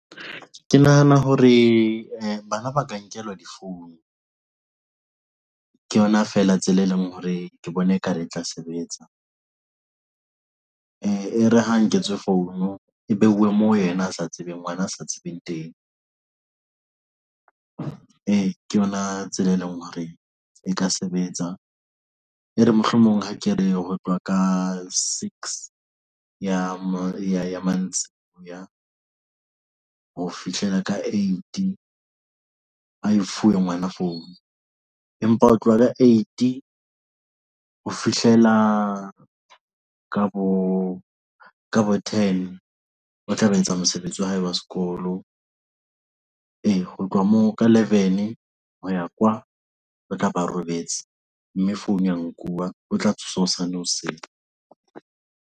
Ke nahana hore bana ba ka nkelwa difounu.Ke yona feela tsela e leng hore ke bona ekare e tla sebetsa e re ha nketswe phone e behuwe moo yena a sa tsebeng ngwana a sa tsebeng teng ke yona tsela, e leng hore e ka sebetsa. E re mohlomong ha ke re ho tlwa ka six ya mantsiboya ho fihlela ka eight a e fuwe ngwana phone empa ho tloha ka eight ho fihlela ka bo ka bo ten ba tla ba etsa mosebetsi wa hae wa sekolo e. Ho tloha moo ka eleven, hoya kwa o tla ba robetse, mme founu ya nkuwa o tla tsoswa hosane hoseng.